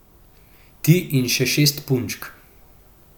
Ti in še šest punčk?